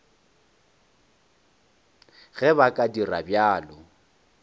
ge ba ka dira bjalo